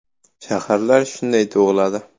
Shaharlar shunday tug‘iladi.